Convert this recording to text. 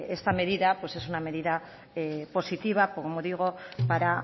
esta medida es una medida positiva como digo para